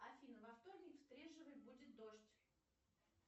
афина во вторник в стрежевой будет дождь